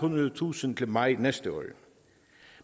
hundrede tusinde til maj næste år